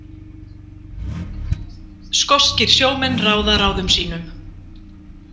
Skoskir sjómenn ráða ráðum sínum